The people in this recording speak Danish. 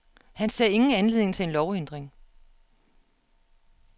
Han ser ingen anledning til en lovændring.